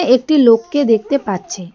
একটি লোককে দেখতে পাচ্ছি।